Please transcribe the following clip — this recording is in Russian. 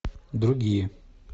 другие